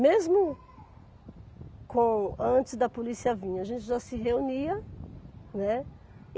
Mesmo com antes da polícia vir, a gente já se reunia, né.